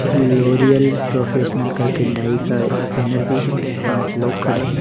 L'Oreal professional करके dye का banner भी है पांच लोग खड़े हैं।